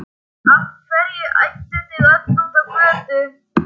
Af hverju ædduð þið öll út á götu?